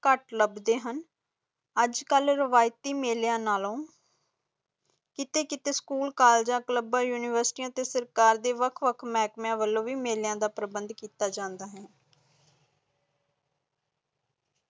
ਕੱਟ ਲੱਬਦੇ ਹੁਣ ਅਜਕਲ ਰਵਾਇਤੀ ਮੇਲਿਆਂ ਨਾਲੋਂ ਕੀਤੇ ਕੀਤੇ ਸਕੂਲ, ਕਾਲਜਾਂ, ਕਲੱਬਾਂ ਉਨਿਵੇਰਤੀਆਂ ਤੇ ਸਰਕਾਰ ਦੇ ਵੱਖ ਵੱਖ ਮਹਿਕਮਿਆਂ ਵਲੋਂ ਵੀ ਮੇਲਿਆਂ ਦਾ ਪ੍ਰਬੰਧ ਕੀਤਾ ਜਾਂਦਾ।